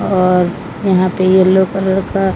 और यहां पे येलो कलर का--